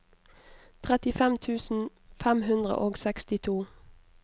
trettifem tusen fem hundre og sekstito